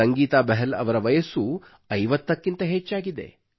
ಸಂಗೀತಾ ಬಹಲ್ ಅವರ ವಯಸ್ಸು 50 ಕ್ಕಿಂತ ಹೆಚ್ಚಾಗಿದೆ